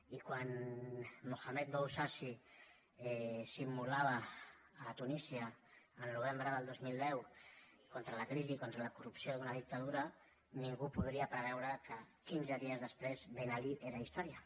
i quan muhammad bouazizi s’immolava a tunísia el novembre del dos mil deu contra la crisi i contra la corrupció d’una dictadura ningú podia preveure que quinze dies després ben ali era història